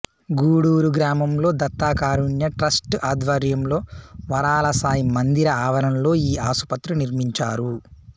గూడూరు గ్రామంలో దత్త కారుణ్య ట్రస్ట్ ఆధ్వర్యంలో వరాలసాయి మందిర ఆవరణలో ఈ ఆసుపత్రి నిర్మించారు